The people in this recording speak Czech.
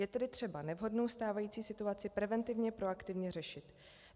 Je tedy třeba nevhodnou stávající situaci preventivně proaktivně řešit.